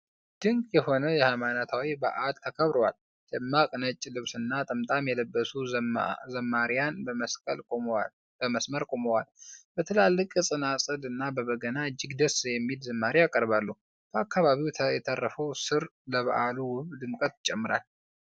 ድንቅ የሆነ ሃይማኖታዊ በዓል ተከብሯል። ደማቅ ነጭ ልብስና ጥምጣም የለበሱ ዘማሪያን በመስመር ቆመዋል። በትላልቅ ጸናጽልና በበገና፣ እጅግ ደስ የሚል ዝማሬ ያቀርባሉ። በአካባቢው የተረፈው ሣር ለበዓሉ ውብ ድምቀት ይጨምራል።